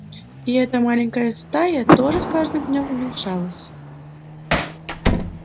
и эта маленькая стая тоже с каждым днём уменьшалась